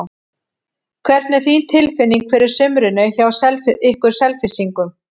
Hvernig er þín tilfinning fyrir sumrinu hjá ykkur Selfyssingum?